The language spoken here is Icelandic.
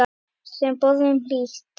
Þeim boðum hlýtt.